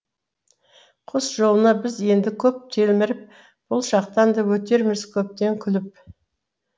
құс жолына біз енді көп телміріп бұл шақтан да өтерміз көптен күліп